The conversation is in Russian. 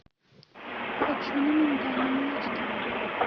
хочу на миндальном молочке